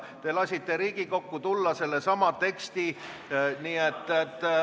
Te lasite Riigikogu ette tulla sellesama teksti.